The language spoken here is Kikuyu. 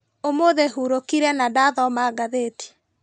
ũmũthĩ hurũkire na ndathoma ngathĩti.